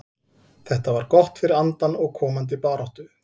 Þetta var gott fyrir andann og komandi baráttu.